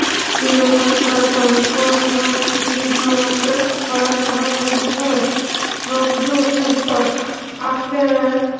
হৃদযন্ত্ৰ, কৰ্কট ৰোগ প্ৰতিৰোধ কৰাত সহায় কৰিব পাৰে, স্ৱাস্থ্য় আপেল